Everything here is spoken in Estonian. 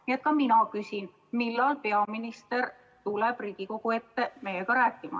Nii et ka mina küsin, millal peaminister tuleb Riigikogu ette meiega rääkima.